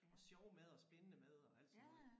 Og sjov mad og spændende mad og alt sådan noget